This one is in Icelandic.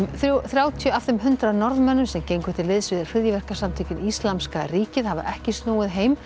þrjátíu af þeim hundrað Norðmönnum sem gengu til liðs við hryðjuverkasamtökin Íslamska ríkið hafa ekki snúið heim